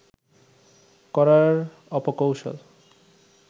করার অপকৌশল